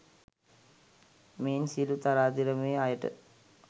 මෙයින් සියලු තරාතිරමේ අයට